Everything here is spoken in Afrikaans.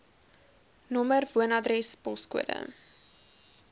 nr woonadres poskode